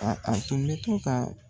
A a tun bɛ to ka